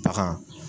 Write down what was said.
Bagan